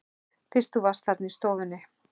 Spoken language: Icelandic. Fyrst þú varst þarna í stofunni.